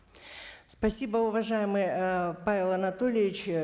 спасибо уважаемый ыыы павел анатольевич